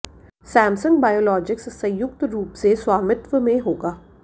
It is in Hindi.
सैमसंग बायोलॉजिक्स संयुक्त रूप से स्वामित्व में होगा